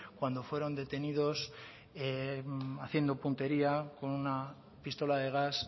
cuando fueron detenidos haciendo puntería con una pistola de gas